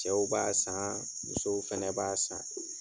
Cɛw b'a saan, musow fɛnɛ b'a san.